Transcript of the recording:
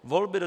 Volby do